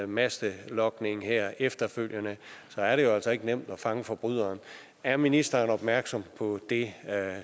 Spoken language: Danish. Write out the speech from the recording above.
mastelogning her efterfølgende er det jo altså ikke nemt at fange forbryderne er ministeren opmærksom på det